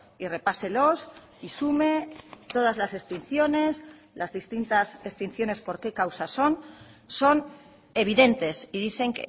y repáselos y sume todas las extinciones las distintas extinciones por qué causa son son evidentes y dicen